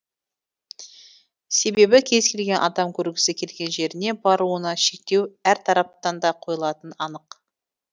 себебі кез келген адам көргісі келген жеріне баруына шектеу әр тараптан да қойылатыны анық